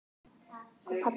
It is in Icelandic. Ó, pabbi minn.